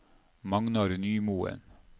Magnar Nymoen